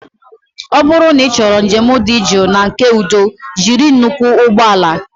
Ọ bụrụ na ịchọrọ njem dị jụụ na nke udo jiri nnukwu ụgbọ ala